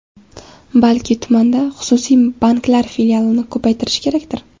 Balki tumanda xususiy banklar filialini ko‘paytirish kerakdir?